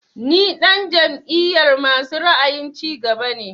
Ni ɗan jam'iyar masu ra'ayin cigaba ne